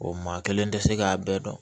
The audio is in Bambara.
O maa kelen tɛ se k'a bɛɛ dɔn